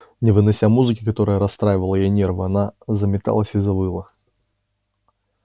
не вынося музыки которая расстраивала ей нервы она заметалась и завыла